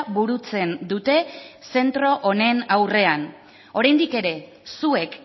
burutzen dute zentro honen aurrean oraindik ere zuek